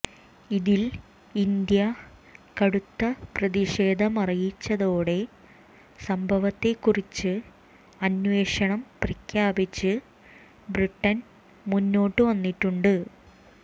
ഇതിൽ ഇന്ത്യ കടുത്ത പ്രതിഷേധമറിയിച്ചതോടെ സംഭവത്തെക്കുറിച്ച് അന്വേഷണം പ്രഖ്യാപിച്ച് ബ്രിട്ടൻ മുന്നോട്ട് വന്നിട്ടുമുണ്ട്